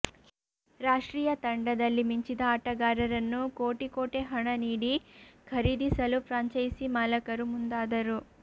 ರಾಷ್ಟ್ರೀಯ ತಂಡದಲ್ಲಿ ಮಿಂಚಿದ ಆಟಗಾರರನ್ನು ಕೋಟಿ ಕೋಟೆ ಹಣ ನೀಡಿ ಖರೀದಿಸಲು ಫ್ರಾಂಚೈಸಿ ಮಾಲಕರು ಮುಂದಾದರು